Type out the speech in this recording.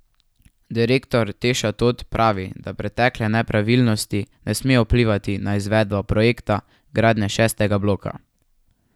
Direktor Teša Tot pravi, da pretekle nepravilnosti ne smejo vplivati na izvedbo projekta gradnje šestega bloka.